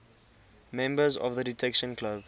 members of the detection club